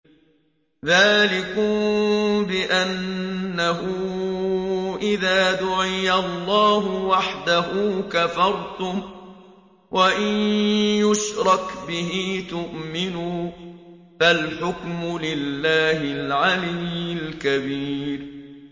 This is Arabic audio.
ذَٰلِكُم بِأَنَّهُ إِذَا دُعِيَ اللَّهُ وَحْدَهُ كَفَرْتُمْ ۖ وَإِن يُشْرَكْ بِهِ تُؤْمِنُوا ۚ فَالْحُكْمُ لِلَّهِ الْعَلِيِّ الْكَبِيرِ